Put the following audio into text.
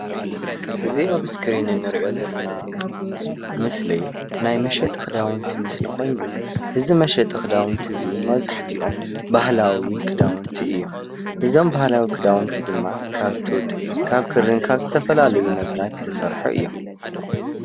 እዚ ኣብ እስክሪን እንሪኦ ዘለና ምስሊ ናይ መሸጢ ክዳውንቲ ምስሊ ኮይኑ እዚ መሸጢ ክዳውንቲ መብዛሕትኦም ባህላዊ ክዳውንቲ እዮም፣ እዞም ባህላዊ ክዳውንቲ ድማ ካብ ጡጥ ካብ ክሪን ካብ ዝተፈላለዩ ነገራት ዝተሰርሑ እዮም፡፡